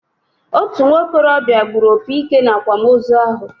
Otú nwokorobia gburu opi ike na-akwamozu ahụ